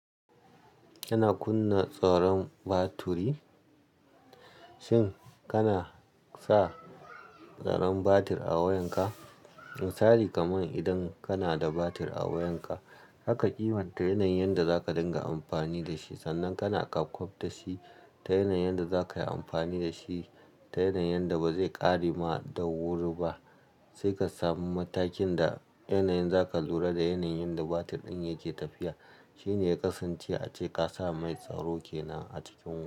Kana kunna tsaron batiri, shin kana sa tsaron batir a wayan ka? Misali kaman idan kana da batir a wayan ka, zaka kimanta yanayin da zaka dinga amfani da shi sannan kana kwaf da shi ta yanayin da zaka yi amfani da shi, ta yanayin da ba zai ƙare ma da wuri ba. Sai ka samu matakin da yanayin za ka lura da yanayin da batir din yake tafiya. Shi ne ya kasance ace ka sa mai tsaro kenan a cikin wayar.